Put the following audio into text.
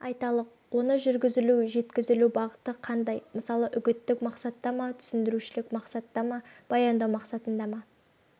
айталық оны жүргізілу жеткізілу бағыты қандай мысалы үгіттік мақсатта ма түсіндірушілік мақсатта ма баяндау мақсатында ма